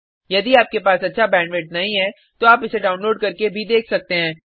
यदि आपके पास अच्छा बैंडविड्थ नहीं है तो आप इसको डाउनलोड करने और देख सकते हैं